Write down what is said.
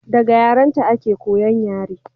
daga yaranta a ke koyan yare